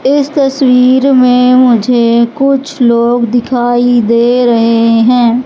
इस तस्वीर में मुझे कुछ लोग दिखाई दे रहे हैं।